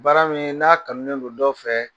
Baara min n'a kanu ne don dɔ fɛ